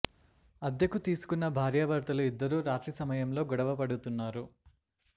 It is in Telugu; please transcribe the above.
అద్దెకు తీసుకున్న భార్యా భర్తలు ఇద్దరూ రాత్రి సమయంలో గొడవ పడుతున్నారు